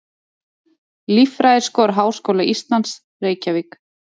Líffræðiskor Háskóla Íslands, Reykjavík.